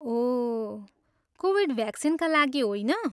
ओह, Covid भ्याक्सिनका लागि होइन?